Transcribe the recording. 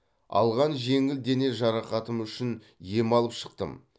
алған жеңіл дене жарақатым үшін ем алып шықтым